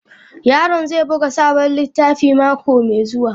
Yaron zai buga sabon littafi mako mai zuwa.